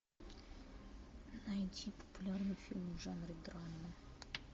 найти популярный фильм в жанре драма